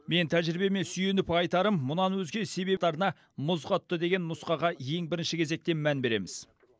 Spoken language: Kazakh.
мен тәжірибеме сүйеніп айтарым мұнан өзге мұз қатты деген нұсқаға ең бірінші кезекте мән береміз